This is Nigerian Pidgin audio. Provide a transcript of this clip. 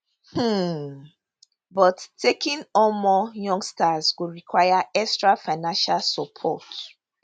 um but taking on more youngsters go require extra financial support